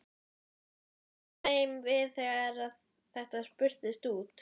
Hvernig var þeim við þegar að þetta spurðist út?